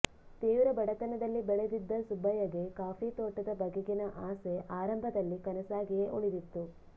ತೀವ್ರ ಬಡತನದಲ್ಲಿ ಬೆಳೆದಿದ್ದ ಸುಬ್ಬಯ್ಯಗೆ ಕಾಫಿ ತೋಟದ ಬಗೆಗಿನ ಆಸೆ ಆರಂಭದಲ್ಲಿ ಕನಸಾಗಿಯೇ ಉಳಿದಿತ್ತು